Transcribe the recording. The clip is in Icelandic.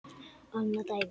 Annað dæmi.